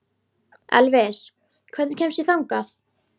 Elvis, hvernig kemst ég þangað?